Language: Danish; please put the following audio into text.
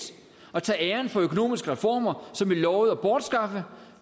og tage æren for økonomiske reformer som vi lovede at bortskaffe